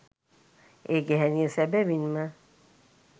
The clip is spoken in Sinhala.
ඒ ගැහැණිය සැබැවින්ම